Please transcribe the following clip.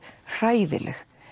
hræðileg